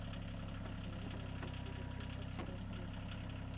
ஆஹ் ஆஹ் பத்துல இருந்து பன்னெண்டு percentage வரைக்கும் interest போடுவேன்னு சொல்லி இருக்காங்க